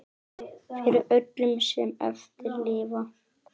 Fyrir öllum sem eftir lifa!